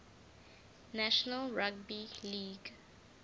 national rugby league